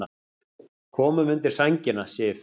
Komum undir sængina, Sif.